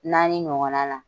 Naani ɲɔgɔn na la.